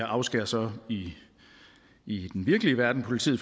afskærer så i i den virkelige verden politiet